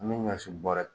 An bɛ ɲɔ si bɔrɛ